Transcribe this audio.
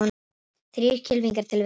Þrír kylfingar til viðbótar